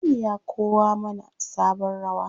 Aminu ya kowa mana sabon rawa.